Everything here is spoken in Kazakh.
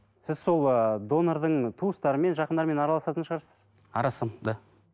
сіз сол ыыы донордың туыстары мен жақындарымен араласатын шығарсыз араласамын да